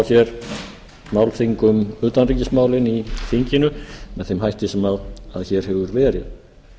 hér málþing um utanríkismálin í þinginu með þeim hætti sem hér hefur verið